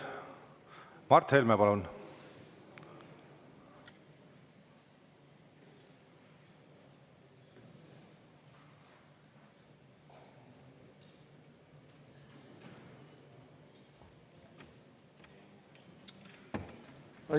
Mart Helme, palun!